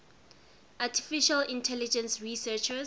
artificial intelligence researchers